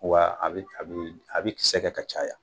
Wa a bɛ a bɛ a bɛ kisɛ kɛ ka caya.